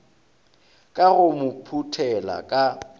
ka go mo phuthela ka